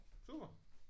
Super